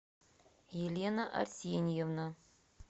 елена арсеньевна